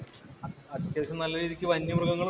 അത്യാവശ്യം നല്ല രീതിക്ക് വന്യ മൃഗങ്ങളും ഉണ്ട്